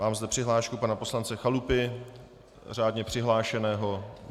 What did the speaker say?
Mám zde přihlášku pana poslance Chalupy, řádně přihlášeného.